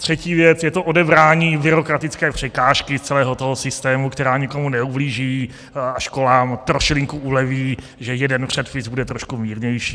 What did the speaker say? Třetí věc je to odebrání byrokratické překážky z celého toho systému, která nikomu neublíží a školám trošilinku uleví, že jeden předpis bude trošku mírnější.